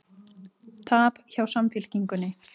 Tap hjá Samfylkingunni